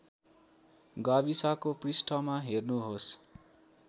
गाविसको पृष्ठमा हेर्नुहोस्